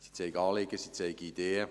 Sie zeigen Anliegen, sie zeigen Ideen;